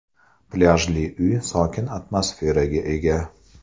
Plyajli uy sokin atmosferaga ega.